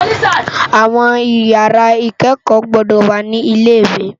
Áwòn ìyàrá ikèékò gbòdò wá ni ilé iwé